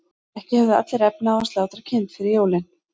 ekki höfðu allir efni á að slátra kind fyrir jólin